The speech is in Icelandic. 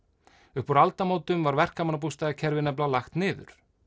upp úr aldamótum var verkamannabústaðakerfið lagt niður